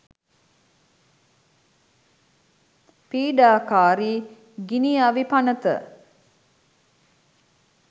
පීඩාකාරි ගිනි අවි පනත